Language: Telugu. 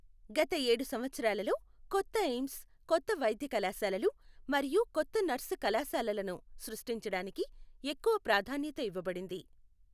గత ఏడు సంవత్సరాలలో, కొత్తఎయిమ్స్, కొత్త వైద్య కళాశాలలు మరియు కొత్త నర్సు కళాశాలలను సృష్టించడానికి ఎక్కువ ప్రాధాన్యత ఇవ్వబడింది.